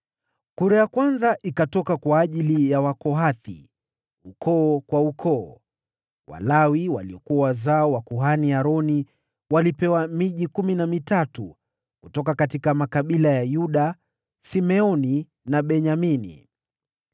Kura ya kwanza ikaangukia Wakohathi, ukoo kwa ukoo. Walawi waliokuwa wazao wa kuhani Aroni walipewa miji kumi na mitatu kutoka makabila ya Yuda, Simeoni na Benyamini.